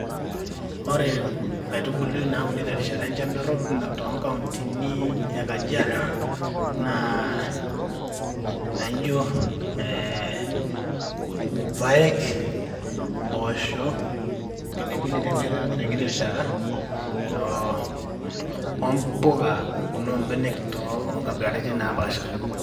Ore nkaitubulu nauni terishata enchan dorop ana tonkauntini e kajiado naa ijo ee irpaek, mboosho, pilipili tenkiti rishata, oo ompuka nona ombenek onkabilaritin naapasha.